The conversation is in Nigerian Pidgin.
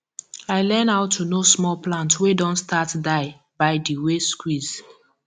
i learn how to know small plant wey don start die by the way squeeze